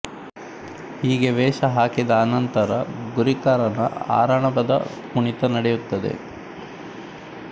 ಹೀಗೆ ವೇಷ ಹಾಕಿದ ಅನಂತರ ಗುರಿಕಾರನ ಆರಣಭದ ಕುಣಿತ ನಡೆಯುತ್ತದೆ